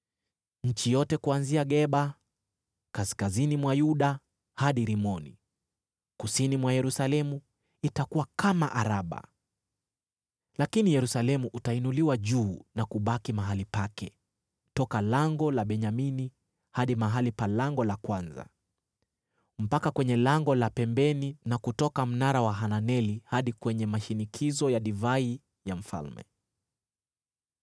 Nchi yote kuanzia Geba, kaskazini mwa Yuda, hadi Rimoni, kusini mwa Yerusalemu, itakuwa kama Araba. Lakini Yerusalemu utainuliwa juu na kubaki mahali pake, toka Lango la Benyamini hadi mahali pa Lango la Kwanza, mpaka kwenye Lango la Pembeni na kutoka Mnara wa Hananeli hadi kwenye mashinikizo ya divai ya mfalme.